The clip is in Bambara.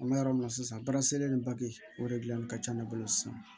An bɛ yɔrɔ min na sisan baaraselen o de dilanni ka ca ne bolo sisan